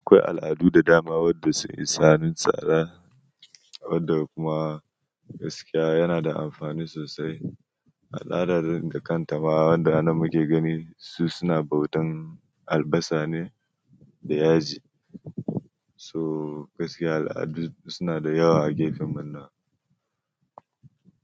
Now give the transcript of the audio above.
Akwai al'adu da dama wanda sun yi sanin tsada wanda kuma gaskiya yana da amfani sosai. Al'ada da kanta ma wanda anan muke gani su suna bautan albasa ne da yaji. So gaskiya al'adu suna da yawa a gefen mu na.